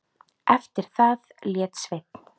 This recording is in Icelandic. Eftir það lét Sveinn